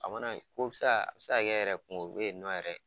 A mana ko bi se a a bi se ka yɛrɛ kungo be yen ni nɔn yɛrɛ